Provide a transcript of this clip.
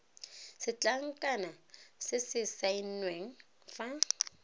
setlankana se se saenweng fa